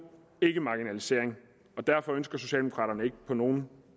ikke marginalisering og derfor ønsker socialdemokraterne ikke på nogen